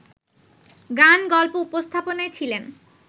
গান-গল্প উপস্থাপনায় ছিলেন